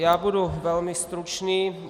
Já budu velmi stručný.